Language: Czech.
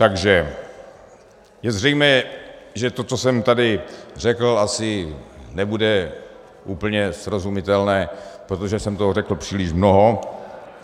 Takže je zřejmé, že to, co jsem tady řekl, asi nebude úplně srozumitelné, protože jsem toho řekl příliš mnoho.